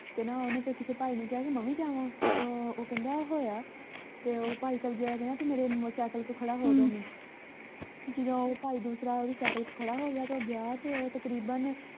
ਤੇ ਨਾ ਓਹਨੂੰ ਕਿਸੇ ਭਾਈ ਨੇ ਕਿਹਾ ਕਿ ਮੈਂ ਵੀ ਜਾਵਾਂ ਉਹ ਕਹਿੰਦਾ ਹੋ ਆ ਤੇ ਭਾਈ ਸਬਜ਼ੀ ਆਲਾ ਕਹਿੰਦਾ ਤੂੰ ਮੇਰੇ ਸਾਈਕਲ ਕੋਲ ਖੜਾ ਹੋ ਜਾਵੀਂ ਜਦੋਂ ਉਹ ਭਾਈ ਦੂਸਰਾ ਓਹਦੇ ਸਾਈਕਲ ਕੋਲ ਖੜਾ ਹੋ ਗਿਆ ਤਾਂ ਉਹ ਗਿਆ ਤੇ ਉਹ ਤਕਰੀਬਨ